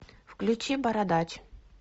включи бородач